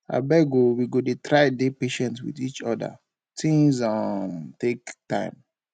abeg o we go try dey patient wit each oda tins um take time